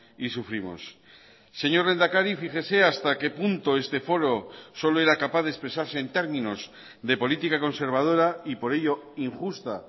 y sufrimos señor lehendakari fíjese hasta qué punto este foro solo era capaz de expresarse en términos de política conservadora y por ello injusta